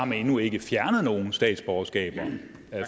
man endnu ikke har fjernet nogen statsborgerskaber